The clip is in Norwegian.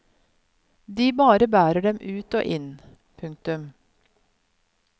De bare bærer dem ut og inn. punktum